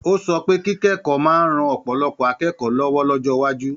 Ó sọ pé kíkẹ́kọ̀ọ́ máa ń ran ọ̀pọ̀lọpọ̀ akẹ́kọ̀ọ́ lọ́wọ́ lọ́jọ́ iwájú.